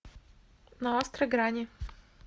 на острой грани